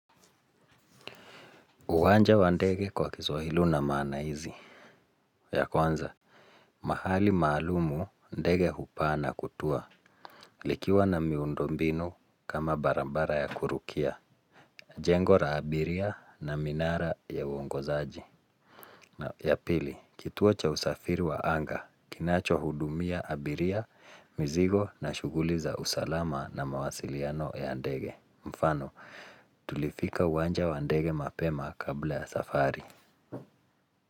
Uwanja wa ndege kwa kiswahili una maana hizi. Ya kuanza, mahali maalumu ndege hupa na kutua. Likiwa na miundombinu kama barambara ya kurukia, jengo ra abiria na minara ya uongozaaji. Na ya pili, kituo cha usafiri wa anga, kinacho hudumia abiria, mzigo na shuguli za usalama na mawasiliano ya ndege. Mfano, tulifika uwanja wa ndege mapema kabla ya safari.